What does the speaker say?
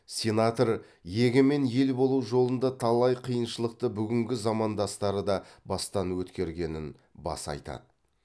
сенатор егемен ел болу жолында талай қиыншылықты бүгінгі замандастары да бастан өткергенін баса айтады